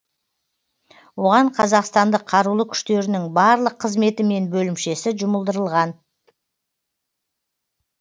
оған қазақстандық қарулы күштерінің барлық қызметі мен бөлімшесі жұмылдырылған